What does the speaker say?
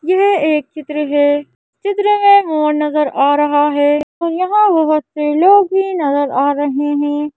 यह एक चित्र हैं। चित्र में मोहन नगर आ रहा हैं और यहाँ बहोत से लोग भीं नजर आ रहें हैं।